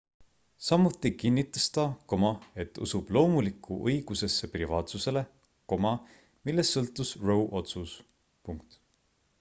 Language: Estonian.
samuti kinnitas ta et usub loomulikku õigusesse privaatsusele millest sõltus roe otsus